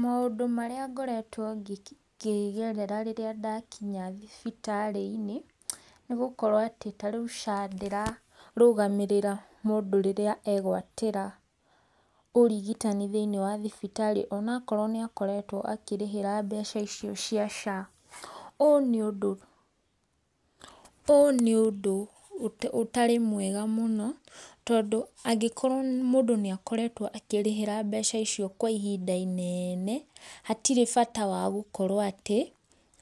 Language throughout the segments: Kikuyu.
Maũndũ marĩa ngoretwo ngĩgerera rĩrĩa ndakinya thibitarĩ-inĩ, nĩ gũkorwo atĩ ta rĩu SHA ndĩrarũgamĩrĩra mũndũ rĩrĩa egwatĩra, ũrigitani thĩinĩ wa thibitarĩ onakorwo nĩ akoretwo akĩrĩhĩra mbeca icio cia SHA. Ũyũ nĩ ũndũ ũyũ nĩ ũndũ ũtarĩ mwega mũno tondũ angĩkorwo mũndũ nĩ akoretwo akĩrĩhĩra mbeca icio kwa ihinda inene, hatirĩ bata wa gũkorwo atĩ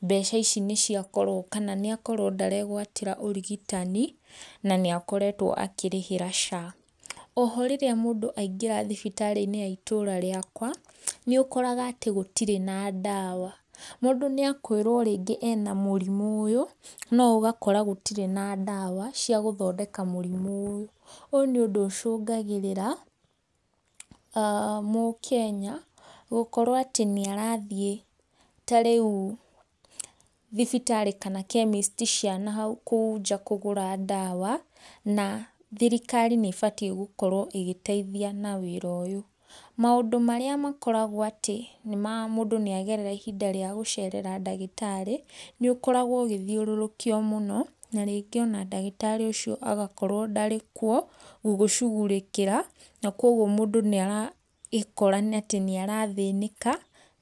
mbeca ici nĩ ciakorwo kana nĩ akorwo ndaregwatĩra ũrigitani na nĩ akoretwo akĩrĩhĩra SHA. Oho rĩrĩa mũndũ aingĩra thibitarĩ-inĩ ya itũra riakwa, nĩũkoraga atĩ gũtirĩ na ndawa, mũndũ nĩ akwĩrwo rĩngĩ ena mũrimũ ũyũ, no ũgakora gũtirĩ na ndawa cia gũthondeka mũrimũ ũyũ. Ũyũ nĩ ũndũ ũcũngagĩrĩa aah mũkenya, gũkorwo atĩ nĩ arathiĩ ta rĩu thibitarĩ kana chemist cia nahau kũu nja kũgũra ndawa, na thirikari nĩ ĩbatie gũkorwo ĩgĩteithia na wĩra ũyũ. Maũndũ marĩa makoragwo atĩ nĩ ma mũndũ nĩ agerera ihinda rĩa gũcerera ndagĩtarĩ, nĩ ũkoragwo ũgĩthiũrũrũkio mũno, na rĩngĩ ona ndagĩtarĩ ũcio agakorwo ndarĩ kuo gũgũcugurĩkĩra, na koguo mũndũ nĩ araikora atĩ nĩ arathĩnĩka.